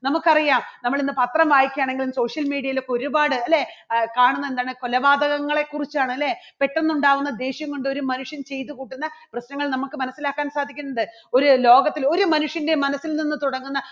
നമുക്കറിയാം നമ്മൾ ഇന്ന് പത്രം വായിക്കാണെങ്കിലും social media ൽ ഒക്കെ ഒരുപാട് അല്ലേ ആ കാണുന്നുണ്ട് കൊലപാതകങ്ങളെ കുറിച്ചാണ് അല്ലേ പെട്ടെന്ന് ഉണ്ടാകുന്ന ദേഷ്യം കൊണ്ട് ഒരു മനുഷ്യൻ ചെയ്തുകൂട്ടുന്ന പ്രശ്നങ്ങൾ നമുക്ക് മനസ്സിലാക്കാൻ സാധിക്കുന്നുണ്ട് ഒരു ലോകത്തിലെ ഒരു മനുഷ്യൻറെ മനസ്സിൽ നിന്ന് തുടങ്ങുന്ന